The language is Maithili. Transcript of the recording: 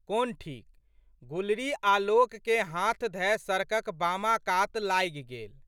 कोन ठीक। गुलरी आलोकके हाथ धए सड़कक बामा कात लागि गेल।